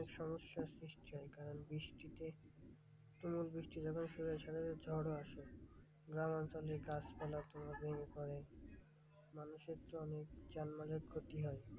অনেক সমস্যার সৃষ্টি হয় কারণ বৃষ্টিতে তুমুল বৃষ্টি যখন শুরু হয় সাথে সাথে ঝড়ও আসে, গ্রামাঞ্চলে গাছপালা ভেঙে পড়ে মানুষের তো অনেক যানবাহনের ক্ষতি হয়,